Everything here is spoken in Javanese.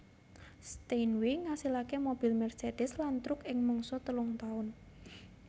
Steinway ngasilake mobil Mercedes lan truk ing mangsa telung taun